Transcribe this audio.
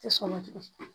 Tɛ sɔn na tugunni